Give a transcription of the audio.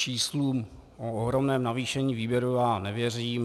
Číslům o ohromném navýšení výběru já nevěřím.